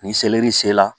Ni seleri sela